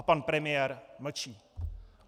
A pan premiér mlčí.